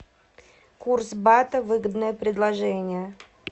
курс бата выгодное предложение